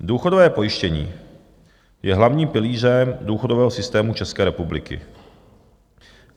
Důchodové pojištění je hlavní pilířem důchodového systému České republiky.